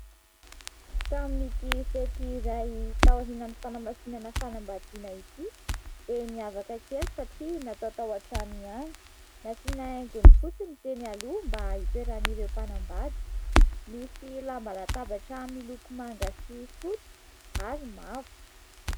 Tamin'ity fety iray tao aorinany fanamasinana fanambadiana ity dia mihavaka kely satria natao tao an-trano ihany nasiana haingony fotsy ny teny aloha mba hitoeran'ireo mpanambady nisy lamba latabatra miloko manga sy fotsy ary mavo.